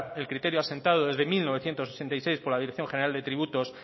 el criterio asentado desde mil novecientos ochenta y seis por la dirección general de tributos